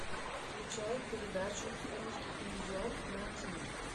включай передачу русский иллюзион на тиви